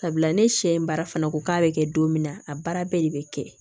Sabula ne sɛ baara fana ko k'a bɛ kɛ don min na a baara bɛɛ de bɛ kɛ